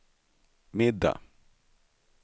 middag